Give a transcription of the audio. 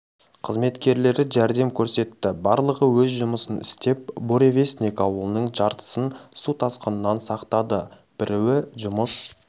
қызметкерлері жәрдем көрсетті барлығы өз жұмысын істеп буревестник ауылының жартысын су тасқыннан сақтады біруі жұмыс